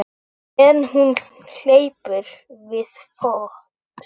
En hún hleypur við fót.